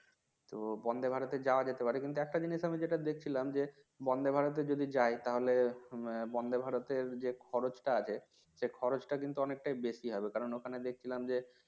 তো Vande, Bharat এ যাওয়া যেতে পারে কিন্তু একটা জিনিস আমি যেটা দেখছিলাম যে Vande, Bharat এ যদি যাই তাহলে Vande, Bharat এর যে খরচটা আছে সে খরচটা কিন্তু অনেকটাই বেশি হবে কারণ ওখানে দেখছিলাম যে